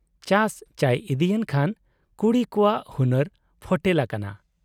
ᱪᱟᱥ ᱪᱚᱭ ᱤᱫᱤᱭᱮᱱ ᱠᱷᱟᱱ ᱠᱩᱲᱤ ᱠᱚᱣᱟᱜ ᱦᱩᱱᱟᱹᱨ ᱯᱷᱚᱴᱮᱞ ᱟᱠᱟᱱᱟ ᱾